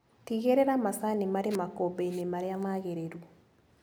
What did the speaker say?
Tigĩrĩra macani marĩ makũmbĩinĩ marĩa magĩrĩru.